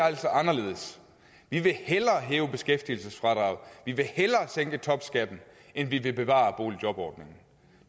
altså anderledes vi vil hellere hæve beskæftigelsesfradraget vi vil hellere sænke topskatten end vi vil bevare boligjobordningen